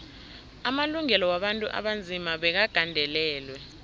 amalungelo wabantu abanzima bekagandelelwe